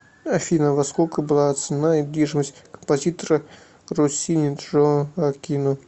афина во сколько была оценена недвижимость композитора россини джоаккино